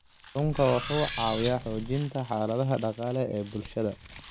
Kalluunku wuxuu caawiyaa xoojinta xaaladaha dhaqaale ee bulshada.